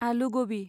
आलु गबि